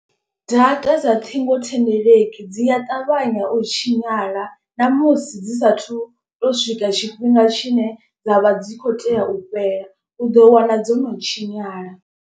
Data dza ṱhingothendeleki dzi a ṱavhanya u tshinyala. Namusi dzi sathu to swika tshifhinga tshine dzavha dzi kho tea u fhela u ḓo wana dzo no tshinyala.